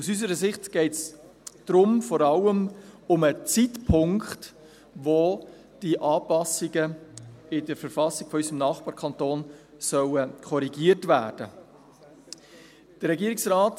Aus unserer Sicht geht es dabei vor allem um den Zeitpunkt, zu dem die Anpassungen in der Verfassung unseres Nachbarkantons korrigiert werden sollen.